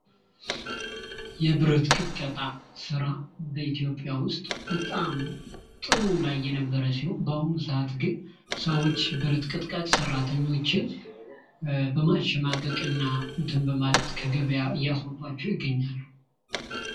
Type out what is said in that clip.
የብረት ቅጥቀጣ ስራ በኢትዮጵያ ውስጥ በጣም ጥሩ ላይ የነበረ ሲሆን በአሁኑ ሰዓት ግን ሰዎች ብረት ቀጥቃጭ ሰራተኞችን በማሸማቀቅ እና አትን በማለት ከገቢያ እያስወጧቸው ይገኛል።